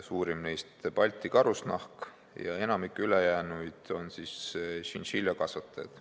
Suurim neist on Balti Karusnahk ja enamik ülejäänuid on tšintšiljakasvatajad.